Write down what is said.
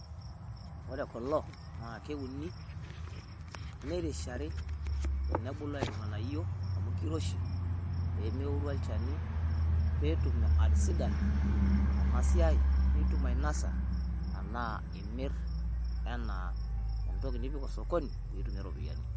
Wore kulo na kewuni nirishari tenebulu aiuu ing'ánayio amu kiroshi pemewuru olchani petuum atisidana enasiai nituum ainosa enaa imirr enaa entoki nipik osokoni pitumie ropiyiani